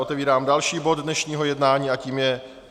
Otevírám další bod dnešního jednání a tím je